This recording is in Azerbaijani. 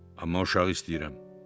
Amma uşağı istəyirəm.